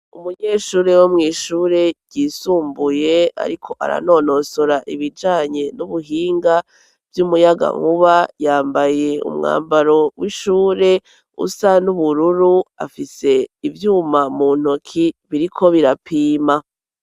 Umunyeshure wo mw'ishure ryisumbuye, ariko aranonosora ibijanye n'ubuhinga vy'umuyaga nkuba yambaye umwambaro w'ishure usa n'ubururu afise ivyuma mu ntoki biriko birapima.